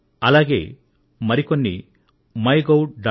అలాగే మరికొన్ని సలహాలు MyGov